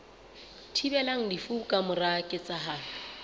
thibelang lefu ka mora ketsahalo